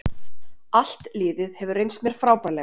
Allt liðið hefur reynst mér frábærlega